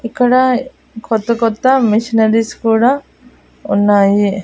ఇక్కడ కొత్త కొత్త మిషనరీస్ కూడా ఉన్నాయి.